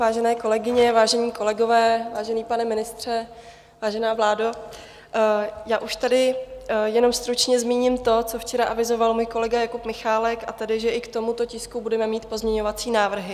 Vážené kolegyně, vážení kolegové, vážený pane ministře, vážená vládo, já už tady jenom stručně zmíním to, co včera avizoval můj kolega Jakub Michálek, a tedy, že i k tomuto tisku budeme mít pozměňovací návrhy.